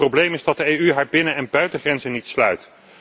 Het probleem is dat de EU haar binnen en buitengrenzen niet sluit.